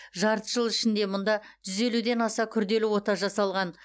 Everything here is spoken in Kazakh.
жарты жыл ішінде мұнда жүз елуден аса күрделі ота жасалған